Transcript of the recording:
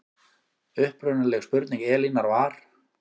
Upprunaleg spurning Elínar var